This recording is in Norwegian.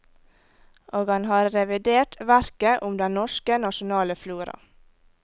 Og han har revidert verket om den norske nasjonale flora.